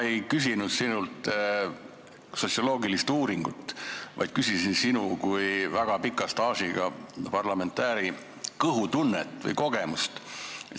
Ma ei küsinud sinult sotsioloogilist uuringut, vaid küsisin sinu kui väga pika staažiga parlamendiliikme kõhutunde kohta.